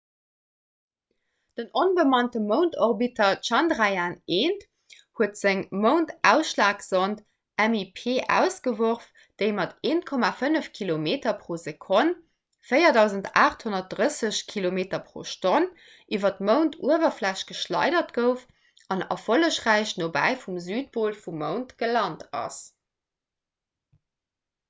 den onbemannte moundorbiter chandrayaan-1 huet seng moundaschlagsond mip ausgeworf déi mat 1,5 kilometer pro sekonn 4 830 km/h iwwer d'mounduwerfläch geschleidert gouf an erfollegräich nobäi vum südpol vum mound gelant ass